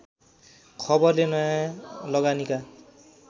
खबरले नयाँ लगानीका